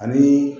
Ani